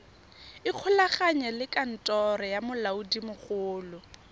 ikgolaganye le kantoro ya molaodimogolo